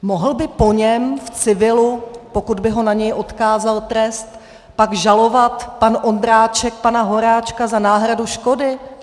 Mohl by po něm v civilu, pokud by ho na něj odkázal trest, pak žalovat pan Ondráček pana Horáčka za náhradu škody?